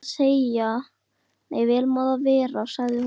Vel má það vera, sagði hún.